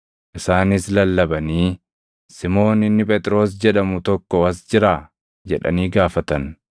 Isaanis lallabanii, “Simoon inni Phexros jedhamu tokko as jiraa?” jedhanii gaafatan.